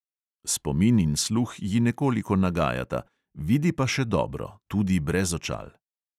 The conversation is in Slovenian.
Spomin in sluh ji nekoliko nagajata, vidi pa še dobro – tudi brez očal.